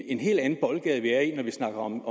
en helt andet boldgade vi er i når vi snakker om